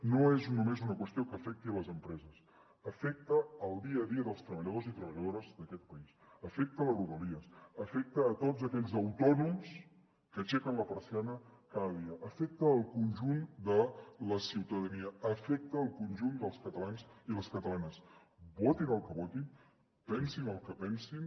no és només una qüestió que afecti les empreses afecta el dia a dia dels treballadors i treballadores d’aquest país afecta les rodalies afecta tots aquells autònoms que aixequen la persiana cada dia afecta el conjunt de la ciutadania afecta el conjunt dels catalans i les catalanes votin el que votin pensin el que pensin